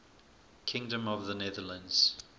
kingdom of the netherlands